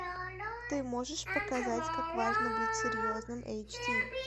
ты можешь показать как важно быть серьезным эйч ди